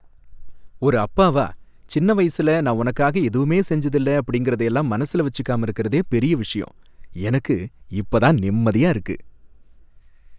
ஒரு அப்பாவா சின்ன வயசுல நான் உனக்காக எதுவுமே செஞ்சதில்ல அப்படிங்கறதயெல்லாம் மனசுல வச்சுக்காம இருக்குறதே பெரிய விஷயம். எனக்கு இப்ப தான் நிம்மதியா இருக்கு